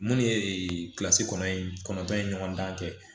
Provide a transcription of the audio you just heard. Munnu ye kilasi kɔnɔntɔn in kɔnɔntɔn in ɲɔgɔndan kɛ